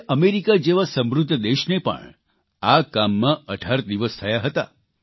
જયારે અમેરિકા જેવા સમૃદ્ધ દેશને પણ આ કામમાં 18 દિવસ થયા હતા